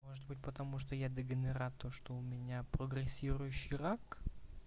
может быть потому что я дегенерат то что у меня прогрессирующий рак